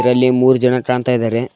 ಇದರಲ್ಲಿ ಮೂರ್ ಜನ ಕಾಣ್ತಾ ಇದಾರೆ.